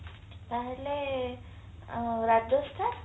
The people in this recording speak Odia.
ତାହାଲେ ରାଜସ୍ଥାନ